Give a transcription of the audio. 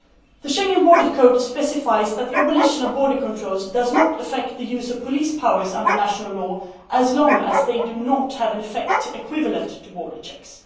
The Schengen Borders Code specifies that the abolition of border controls does not affect the use of police powers under national law, as long as they do not have an effect equivalent to border checks.